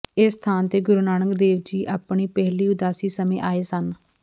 ਇਸ ਸਥਾਨ ਤੇ ਗੁਰੂ ਨਾਨਕ ਦੇਵ ਜੀ ਆਪਣੀ ਪਹਿਲੀ ਉਦਾਸੀ ਸਮਂੇ ਆਏ ਸਨ